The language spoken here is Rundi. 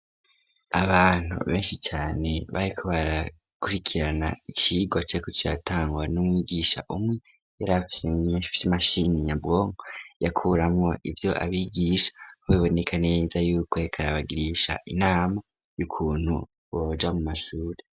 Abantu benshi cane bayiko barakurikirana icirwa ceko catangwa n'umwigisha umwe yarafisen inyensh vy'imashini nyabwonk yakuramwo ivyo abigisha ho bibonekaneza yuko hkarabagirisha inama y'ukuntu boja mu masuri.